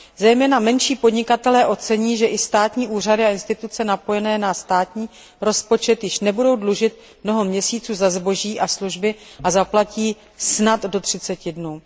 Zejména menší podnikatelé ocení, že i státní úřady a instituce napojené na státní rozpočet již nebudou dlužit mnoho měsíců za zboží a služby a zaplatí snad do třiceti dnů.